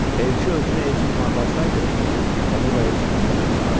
Elçi özünü elçi kimi aparsaydı, onunla elçi kimi davranılardı.